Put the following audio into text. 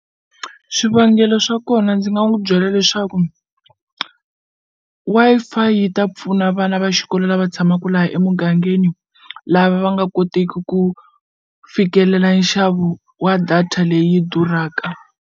Swivangelo swa kona ndzi nga n'wu byela leswaku Wi-Fi yi ta pfuna vana va xikolo lava tshamaku laha emugangeni lava va nga koteki ku fikelela nxavo wa data leyi durhaka.